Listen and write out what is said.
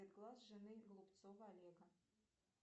цвет глаз жены голубцова олега